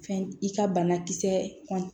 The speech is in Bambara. Fɛn i ka banakisɛ kɔn